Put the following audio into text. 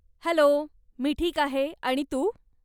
Hello, मी ठीक आहे. आणि तू?